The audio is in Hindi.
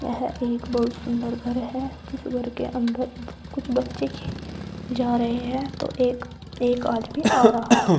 यह एक बहुत सुंदर घर है जिस घर के अंदर कुछ बच्चे खे जा रहे हैं तो एक एक आदमी आ रहा है।